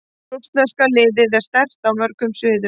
Rússneska liðið er sterkt á mörgum sviðum.